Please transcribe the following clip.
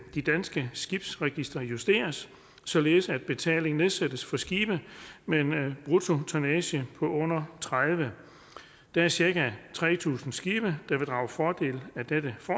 det danske skibsregister justeres således at betalingen nedsættes for skibe med en bruttotonnage på under tredivete der er cirka tre tusind skibe der vil drage fordel af dette